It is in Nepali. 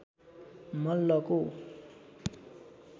मल्लको